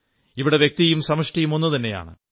ഇവിടെ വ്യക്തിയും സമഷ്ടിയും ഒന്നുതന്നെയാണ്